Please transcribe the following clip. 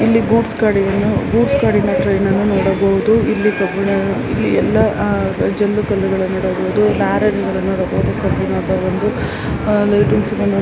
ಗೂಡ್ಸ್ನ್ goods ಗಳಿಂದ train ಅನ್ನ ನೋಡಬಹುದುಇಲ್ಲಿ ಎಲ್ಲಾ ಆ ಆ ಇಲ್ಲಿ ಎಲ್ಲಾ ಜೆಲ್ಲಿ ಕಳ್ಳಗಳನ್ನು ನೋಡಬಹುದು ಆ ಆ